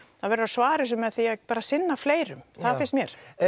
verður að svara þessu með því að sinna fleirum það finnst mér